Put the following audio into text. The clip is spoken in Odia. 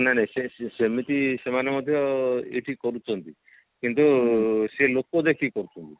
ନାଇଁ ନାଇଁ ସେ ସେମିତି ସେମାନେ ମଧ୍ୟ ଏଠି କରୁଛନ୍ତି କିନ୍ତୁ ସେ ଲୋକ ଦେଖିକି କରୁଛନ୍ତି